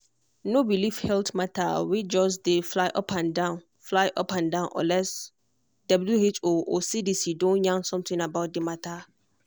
no believe health matter wey just dey fly upandan fly upandan unless who or cdc don yarn something about the matter.